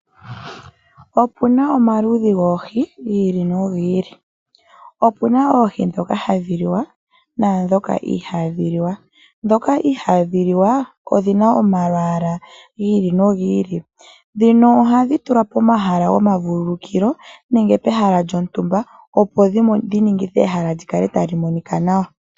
Opuna omaludhi goohi gi ili nogi ili. Opena oohi dhoka hadhi liwa naadhoka ihadhi liwa. Dhoka ihadhi liwa odhina omalwaala gi ili nogi ili. Dhino ohadhi tulwa pomahala gomavululukilo nenge pehala lyontumba opo dhiningithe ehala likale tali monika nawa.